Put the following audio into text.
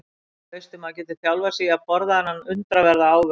Og veistu maður getur þjálfað sig í að borða þennan undraverða ávöxt.